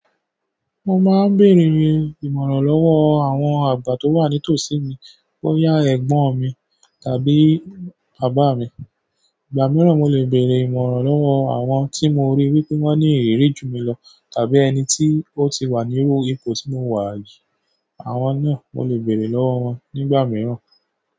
Mo máa ń bèrè ìrànlọ́wọ́ àwọn àgbà tó wà ní tòsí mi, bóyá ẹ̀gbọ́n mi tàbí bàbá mi. Ìgbà mìíràn, mo lè bèrè ìmọ̀ràn lọ́wọ́ àwọn tí mo rí wí pé wọ́n ní ìrírí ju mi lọ tàbí ẹni tí ó ti wà níru ipò tí mo wà yìí. Àwọn náà, mo lè bèrè lọ́wọ́ wọn nígbà mìíràn.